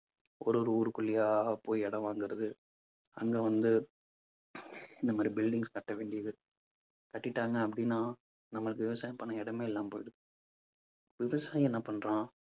ஒரு ஒரு ஊருக்குள்ளேயா போய் இடம் வாங்குறது. அங்க வந்து இந்த மாதிரி buildings கட்ட வேண்டியது. கட்டிட்டாங்க அப்பிடின்னா நம்மளுக்கு விவசாயம் பண்ண இடமே இல்லாம போயிடுது. விவசாயி என்ன பண்றான்